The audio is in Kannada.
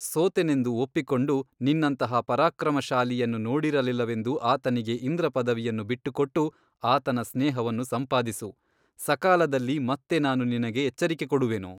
ಸೋತೆನೆಂದು ಒಪ್ಪಿಕೊಂಡು ನಿನ್ನಂತಹ ಪರಾಕ್ರಮಶಾಲಿಯನ್ನು ನೋಡಿರಲಿಲ್ಲವೆಂದು ಆತನಿಗೆ ಇಂದ್ರ ಪದವಿಯನ್ನು ಬಿಟ್ಟುಕೊಟ್ಟು ಆತನ ಸ್ನೇಹವನ್ನು ಸಂಪಾದಿಸು ಸಕಾಲದಲ್ಲಿ ಮತ್ತೆ ನಾನು ನಿನಗೆ ಎಚ್ಚರಿಕೆ ಕೊಡುವೆನು.